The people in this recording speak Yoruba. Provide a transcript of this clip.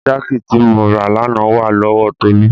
Jáàkì tí mo rà lánàá wà lọ́wọ Tolú.